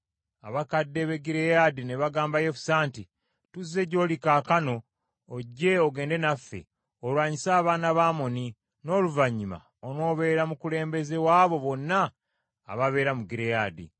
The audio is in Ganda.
Abakadde b’e Gireyaadi ne bagamba Yefusa nti, “Tuzze gy’oli kaakano, ojje ogende naffe, olwanyise abaana ba Amoni, n’oluvannyuma onoobeera mukulembeze w’abo bonna ababeera mu Gireyaadi.”